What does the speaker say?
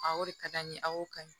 o de ka di an ye a y'o ka ɲi